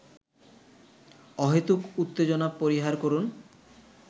অহেতুক উত্তেজনা পরিহার করুন